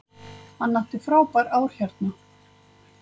Við þetta virðist hluturinn hoppa til og frá.